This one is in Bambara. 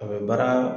A bɛ baara